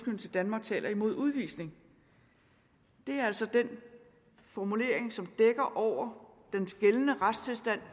danmark taler imod udvisning det er altså den formulering som dækker over den gældende retstilstand